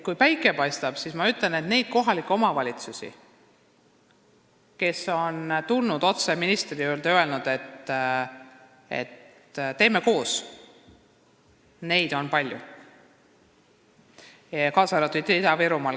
Kui päike paistab, siis võib öelda, et meil on palju neid kohalikke omavalitsusi, kes on tulnud otse ministri juurde ja öelnud, et teeme koos, kaasa arvatud Ida-Virumaal.